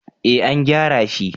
eh an gyara shi